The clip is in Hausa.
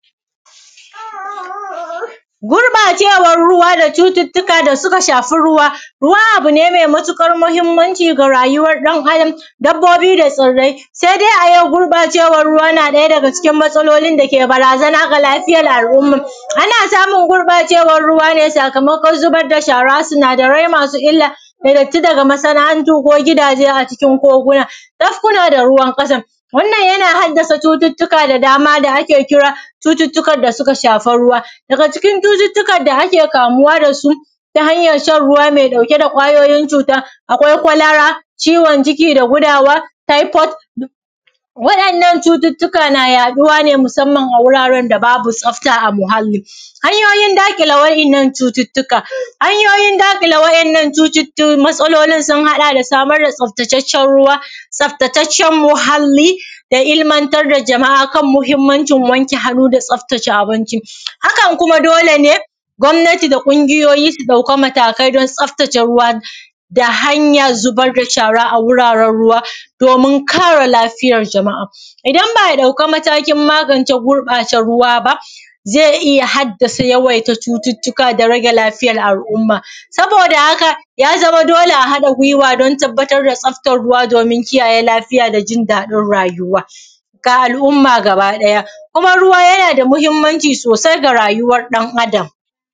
Gurɓacewan ruwa da cututtuka da suka shafi ruwa, abu ne me matuƙar mahinmanci ga rayuwar ɗan Adam, dabbobi da tsirrai se dai yau gurɓacewan ruwa yana ɗaya daga cikin matsalolin dake barazana ga lafiya al’umma. Ana samun gurɓacewan ruwa sakamakon zubar da shara sinadaran masu illa da datti daga masana’antu ko gidaje a cikin koguna da kuna da ruwan gada, wanann yana haddasa cututtuka da dama da ake kira cututtukan da suka shafi ruwa. Daga cikin cututtukan da ake kamuwa da su ta hanyan shan ruwa me ɗauke da kwayoyin cutan akwai kwalara, ciwon ciki da gudawa, taifod waɗannan cututtuka yana yaɗuwa ne a wuraren da babu tsafta ba muhalli. Hanyoyin daƙile wannan cututtuka, hanyoyin daƙike waɗannan matsalolin sun haɗa da samar da tsaftattaccen ruwa, tsaftataccen muhalli da ilmantar da jama’a akan muhinmancin wanke hannu da tsafta abinci, hakan kuma dole ne gwamnati da kuma ƙungiyoyi su ɗauka matakai tsaftace ruwa da hanyan zubar da shara a wurare ruwa don, kare lafiyar jama’a idan ba’a ɗauka matakin mangance gurɓataccen ruwa ba ze iya haddasa yawaita cututtuka da rage lafiyar al’umma. Saboda haka ya zama dole a haɗa gwiwa don tabbatar da tsaftan ruwa domin kiyaye lafiya da jin daɗin rayuwa da al’umma gabaɗaya kuma ruwa yana da mahinmanci sosai ga lafiyar rayuwar ɗan Adam.